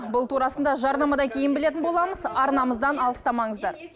бұл турасында жарнамадан кейін білетін боламыз арнамыздан алыстамаңыздар